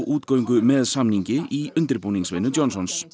útgöngu með samningi í undirbúningsvinnu Johnsons